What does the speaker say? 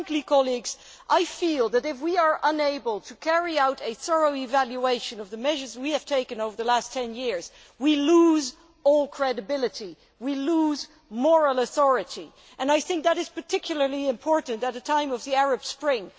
Frankly, colleagues, I feel that if we are unable to carry out a thorough evaluation of the measures we have taken over the last ten years, we lose all credibility and moral authority, and that is particularly important at the time of the Arab Spring.